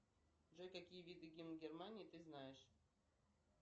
джой какие виды гимн германии ты знаешь